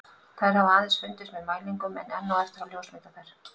Þær hafa aðeins fundist með mælingum en enn á eftir að ljósmynda þær.